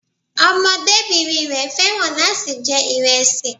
Ọmọdébìnrin rẹ̀ fẹ́ràn láti jẹ ìrẹsì